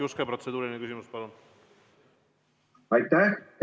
Jaak Juske, protseduuriline küsimus, palun!